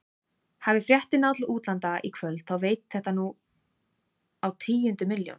Hafi fréttin náð til útlanda í kvöld þá veit þetta nú á tíundu milljón.